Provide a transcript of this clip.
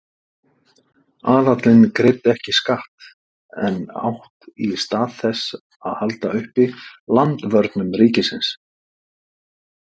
Aðallinn greiddi ekki skatt en átti í stað þess að halda uppi landvörnum ríkisins.